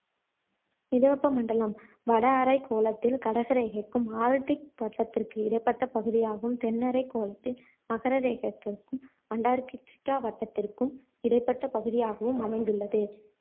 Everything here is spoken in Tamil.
மித வெப்ப மண்டலம் வட அரைகோளத்தில கடக ரேகைக்கும் ஆர்க்டிக் வட்டத்திற்கு இடைப்பட்ட பகுதியாகவும் தென் அரை கோளத்தில் மகர ரேகைக்கும் அண்டார்டிக்கா வட்டத்திற்கும் இடைப்பட்ட பகுதியாகவும் அமைந்துள்ளது